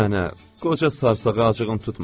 Mənə, qoca sarsağa acığın tutmasın.